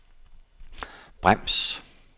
brems